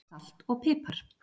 Salt og pipar